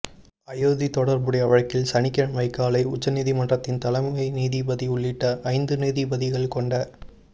அயோத்தி தொடா்புடைய வழக்கில் சனிக்கிழமை காலை உச்சநீதிமன்றத்தின் தலைமை நீதிபதி உள்ளிட்ட ஐந்து நீதிபதிகள் கொண்ட